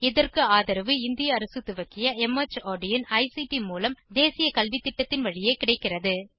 இதற்கு ஆதரவு இந்திய அரசு துவக்கிய மார்ட் இன் ஐசிடி மூலம் தேசிய கல்வித்திட்டத்தின் வழியே கிடைக்கிறது